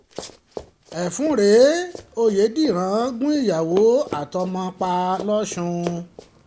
ẹfun um rèé ọ̀yédèrán gun ìyàwó àtọmọ-ọmọ um ẹ̀ pa lọ́sùn